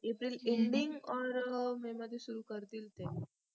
April ending or May मध्ये सुरू करतील ते